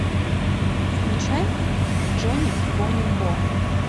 включай джони бони бо